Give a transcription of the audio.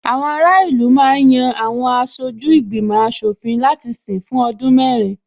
Àwọn ará ìlú ma ń yan Àwọn aṣojú ìgbìmò aṣòfin láti sìn fún ọdún mẹ́rin